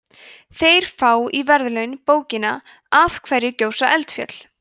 þeir fá í verðlaun bókina af hverju gjósa eldfjöll